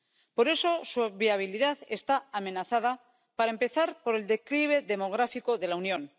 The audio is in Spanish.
Por eso, su viabilidad está amenazada, para empezar, por el declive demográfico de la Unión.